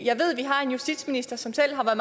jeg ved at vi har en justitsminister som selv har